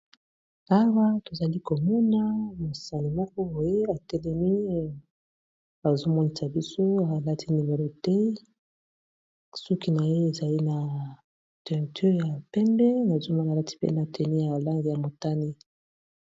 Awa tozali komona mosani moko boye ya telemi bazomonisa biso ya alati velete soki na ye ezali na teinture ya pembe nazomana alati pe na tenue ya langi ya motane.